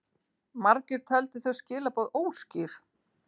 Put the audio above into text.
Margir töldu þau skilaboð óskýr.